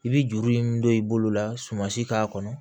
I bɛ juru in min don i bolo la sumansi k'a kɔnɔ